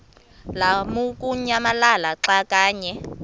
lamukunyamalala xa kanye